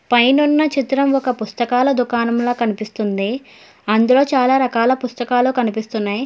పైనున్న చిత్రం ఒక పుస్తకాల దుకాణం లా కన్పిస్తుంది అందులో చాలా రకాల పుస్తకాలు కనిపిస్తున్నాయ్.